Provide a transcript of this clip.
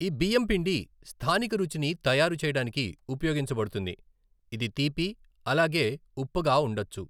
ఈ బియ్యం పిండి స్థానిక రుచిని తయారు చేయడానికి ఉపయోగించబడుతుంది, ఇది తీపి అలాగే ఉప్పుగా ఉండచ్చు .